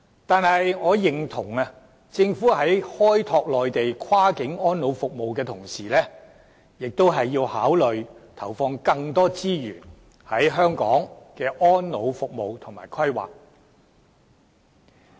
但是，我認同政府在開拓內地跨境安老服務的同時，也要考慮投放更多資源在香港的安老服務及規劃。